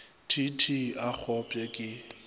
t t a kgopše ke